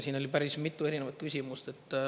Siin oli päris mitu erinevat küsimust.